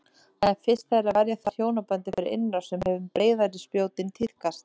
Það er fyrst þegar verja þarf hjónabandið fyrir innrás sem hin breiðari spjótin tíðkast.